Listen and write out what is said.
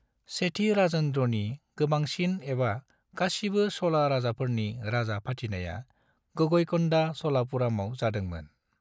सेथि राजेन्द्रनि गोबांसिन एवा गासिबो चोला राजाफोरनि राजा फाथिनाया गंगईकोंडा चोलपुरमाव जादोंमोन।